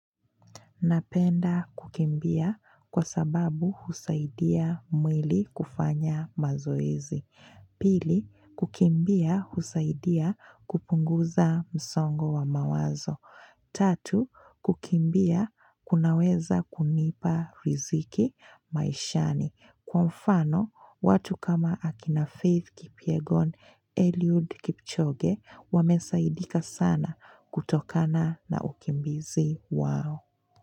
Napenda kukimbia kwa sababu husaidia mwili kufanya mazoezi. Pili, kukimbia husaidia kupunguza msongo wa mawazo. Tatu, kukimbia kunaweza kunipa riziki maishani. Kwa mfano, watu kama akina Faith Kipyegon, Eliud Kipchoge, wamesaidika sana kutokana na ukimbizi wao.